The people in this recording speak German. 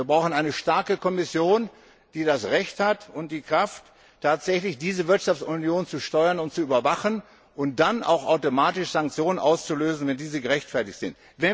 Und wir brauchen eine starke Kommission, die das Recht und die Kraft hat, diese Wirtschaftsunion tatsächlich zu steuern und zu überwachen und dann auch automatisch Sanktionen auszulösen, wenn diese gerechtfertigt sind.